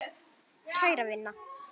Kæra vina!